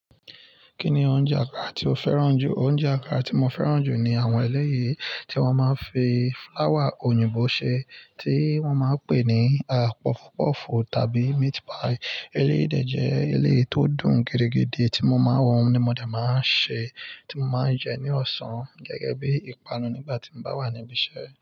Kí ni oúnjẹ àkàrà tí o fẹ́ràn jù? Oúnjẹ àkàrà tí mo fẹ́ràn jù ni àwọn ẹlẹ́yi tí wọ́n máa ń fi fúláwà òyìnbó ṣe, tí wọ́n máa ń pè ní puff puff tàbí meat pie. Eléyìí de jẹ́ eleyii tó dùn gidigidi tí mo máa ń wọ́n ni mo jẹ́ máa ń ṣe tí mo máa ń jẹ ní ọ̀sán gẹ́gẹ́ bí i ìpanu nígbà tí mo bá wà ní ibi iṣẹ́